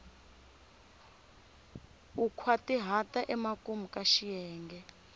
u nkhwatihata emakumu ka xiyenge